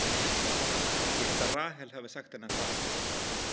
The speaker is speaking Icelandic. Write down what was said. Ég held að Rahel hafi sagt henni að fara.